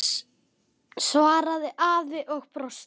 svaraði afi og brosti.